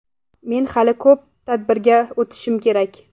Men hali Ko‘p tadbirga o‘tishim kerak.